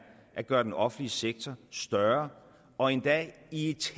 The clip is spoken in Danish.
at gøre den offentlige sektor større og endda i et